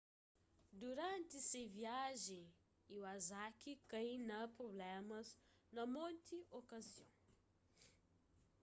duranti se viajen iwasaki kai na prublémas na monti okazion